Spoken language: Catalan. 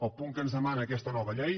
el punt en què es demana aquesta nova llei